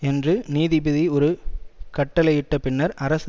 என்று நீதிபதி ஒரு கட்டளையிட்ட பின்னர் அரசு